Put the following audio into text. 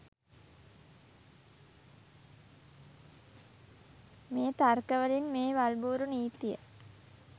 මේ තර්කවලින් මේ වල්බූරු නීතිය